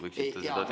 Võiksite seda teada.